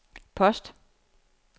post